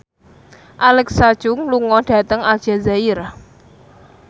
Alexa Chung lunga dhateng Aljazair